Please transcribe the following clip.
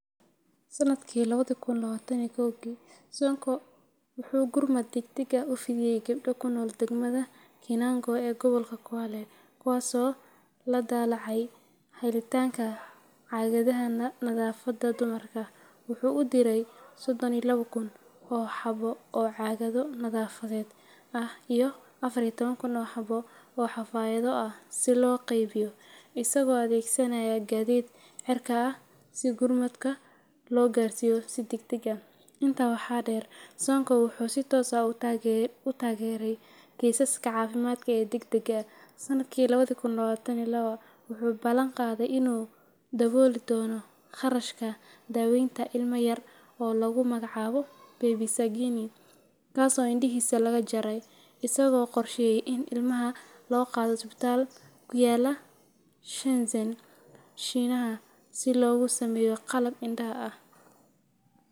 Sanadkii lawadi kun lawatan iyo kowgi, Sonko wuxuu gurmad degdeg ah u fidiyay gabdho ku nool degmada Kinango ee gobolka Kwale, kuwaasoo la daalaa dhacayay helitaanka caagadaha nadaafadda dumarka. Wuxuu u diray sodhon iyo lawo kun oo xabo oo xabbo oo caagado nadaafadeed ah iyo afar iyo toban kun oo xabbo oo xafaayado ah si loo qaybiyo, isagoo adeegsanaya gaadiid cirka ah si gurmadka loo gaarsiiyo si degdeg ah .intaa waxaa dheer, Sonko wuxuu si toos ah u taageeray kiisaska caafimaad ee degdegga ah. Sanadkii lawadi kun lawatan iyo lawa, wuxuu ballan qaaday inuu dabooli doono kharashka daaweynta ilma yar oo lagu magacaabo Baby Sagini, kaasoo indhihiisa laga jaray, isagoo qorsheeyay in ilmaha loo qaado isbitaal ku yaalla Shenzen, Shiinaha, si loogu sameeyo qalab indhaha ah.